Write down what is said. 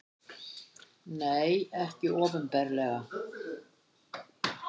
Nei, ekki opinberlega.